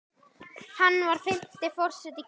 Hann var fimmti forseti Kýpur.